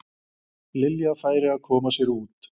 Lilja færi að koma sér út.